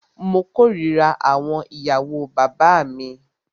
Mó kòrira àwọn ìyàwó bàbá mí.